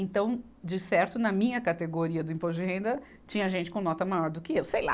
Então, de certo, na minha categoria do imposto de renda, tinha gente com nota maior do que eu, sei lá.